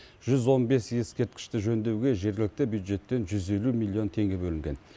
жүз он бес ескерткішті жөндеуге жергілікті бюджеттен жүз елу миллион теңге бөлінген